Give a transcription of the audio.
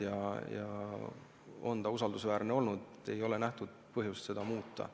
See kaart on usaldusväärne olnud ja ei ole nähtud põhjust seda muuta.